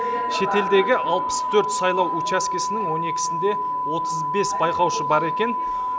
шетелдегі алпыс төрт сайлау учаскесінің он екісінде отыз бес байқаушы бар екен